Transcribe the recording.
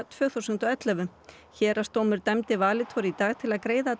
tvö þúsund og ellefu héraðsdómur dæmdi Valitor í dag til að greiða